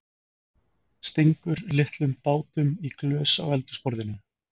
Stingur litlum bátum í glös á eldhúsborðinu.